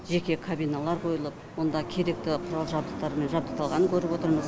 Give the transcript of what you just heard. жеке кабиналар қойылып онда керекті құрал жабдықтармен жабдықталғанын көріп отырмыз